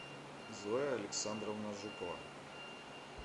зоя александровна жукова